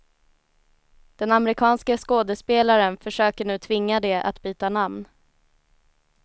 Den amerikanske skådespelaren försöker nu tvinga det att byta namn.